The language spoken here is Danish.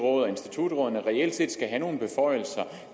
råd og institutrådene reelt set skal have nogle beføjelser